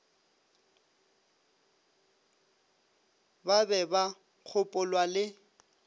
ba be ba gopolwa le